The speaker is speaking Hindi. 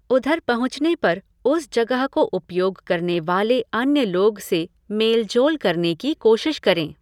उधर पहुँचने पर उस जगह को उपयोग करने वाले अन्य लोग से मेल जोल करने की कोशिश करें।